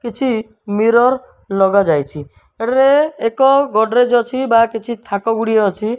କିଛି ମିରର ଲଗା ଯାଇଛି ଏଠାରେ ଏକ ଗୋଡ୍ରେଜ୍ ଅଛି ବା କିଛି ଥାକ ଗୁଡ଼ିଏ ଅଛି।